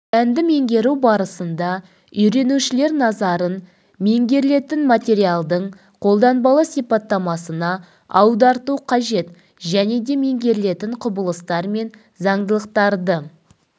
пәнді меңгеру барысында үйренушілер назарын меңгерілетін материалдың қолданбалы сипаттамасына аударту қажет және де меңгерілетін құбылыстар мен заңдылықтарды